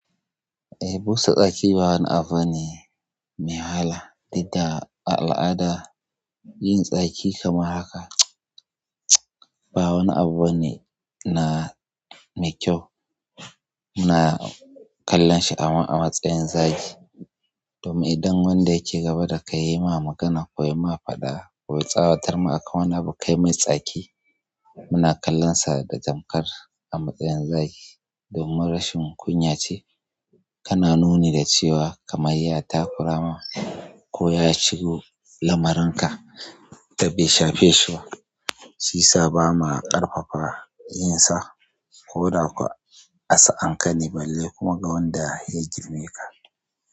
Eh, busa tsaki ba wani abu ne mai wahala. Duk da a al'ada yin tsaki kamar haka ba wani abu bane na mai kyau. Muna kallon shi a matsayin zagi. Domin idan wanda yake gaba da kai ya yi ma magana ko ya yi ma faɗa ko ya tsawatar ma akan wani abu kai mai tsaki, muna kallonsa da tamkar a matsayin zagi. Domin rashin kunya ce, kana nuni da cewa kaman ys takura ma ko ya shigo lamarin ka da bai shafe shi ba. Shi sa ba ma ƙarfafa yin sa, ko da ko a sa'anka ne balle kuma ga wanda ya girmeka.